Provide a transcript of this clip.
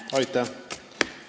Aitäh!